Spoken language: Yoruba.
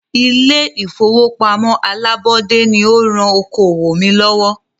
Ilé ìfọwọ́pamo alábọ́dé ní o rán okoòwò mí lọ́wọ́.